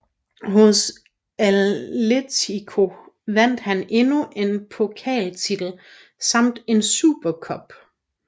Hos Atlético vandt han endnu en pokaltitel samt en Super Cup